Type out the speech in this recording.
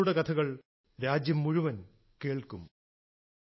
നിങ്ങളുടെ കഥകൾ രാജ്യം മുഴുവൻ കേൾക്കും